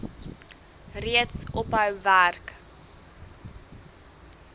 reeds ophou werk